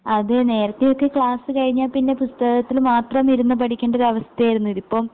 അതേ നേരത്തെയൊക്കെ ക്ലാസ്സ്‌ കഴിഞ്ഞാപ്പിന്നെ പുസ്തകത്തില് മാത്രമിരുന്നു പഠിക്കണ്ടരൊവസ്ഥയായിരുന്നു ഇതിപ്പം